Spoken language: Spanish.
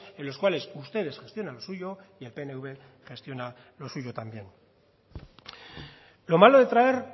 en los cuales ustedes gestionan lo suyo y el pnv gestiona lo suyo también lo malo de traer